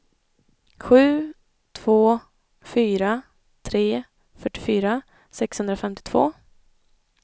sju två fyra tre fyrtiofyra sexhundrafemtiotvå